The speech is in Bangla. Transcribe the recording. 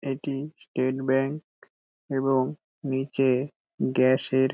এটি স্টেট ব্যাঙ্ক এবং নিচে গ্যাস -এর--